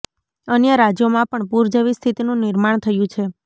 અન્ય રાજ્યોમાં પણ પૂર જેવી સ્થિતિનું નિર્માણ થયું છે